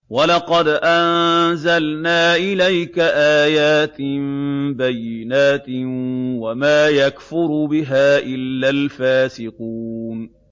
وَلَقَدْ أَنزَلْنَا إِلَيْكَ آيَاتٍ بَيِّنَاتٍ ۖ وَمَا يَكْفُرُ بِهَا إِلَّا الْفَاسِقُونَ